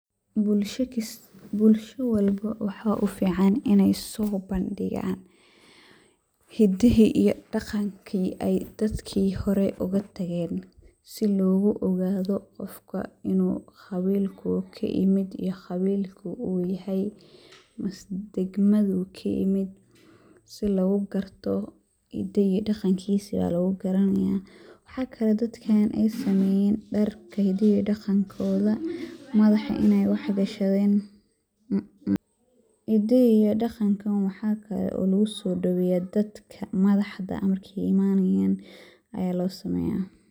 Bulsha walba waa u fiican iney soo bandhigaan hiddihi iyo dhaqankii ay dadkii hore oga tageen ,si loogu ogaado qofka qawilkuu ka yimid iyo qawilka uu yahay ,dagmada uu ka yimid si loogu garto ,hidda iyo dhaqankiisi ayaa lagu garanayaa . Maxa kale ay dadkaan ay sameyaan ,dharka hiddaha iyo dhaqankooda ,madax iney wax gashadeeen .Hiddaha iyo dhaqankan waxa kale oo lagusoo dhaweyaa dadka madaxda marka ay imanayaan ayaa loo sameyaa.